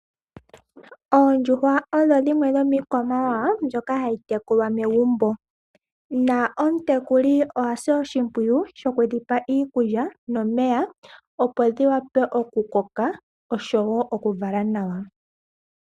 Oondjuhwa odho dhimwe dhomiikwamawawa mbyoka hayi tekulwa momagumbo. Omutekuli oha sile oshimpwiyu shoku dhipa iikulya nomeya opo dhi koke, osho wo okuvala nawa.